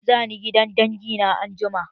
Za ni gidan dangi na anjima.